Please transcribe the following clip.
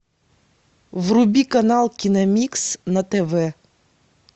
вруби канал киномикс на тв